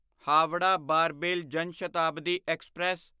Howrah Barbil Jan Shatabdi express